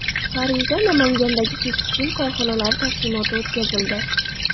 Parijda Namangandagi tekstil korxonalari taqdimoti o‘tkazildi.